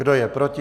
Kdo je proti?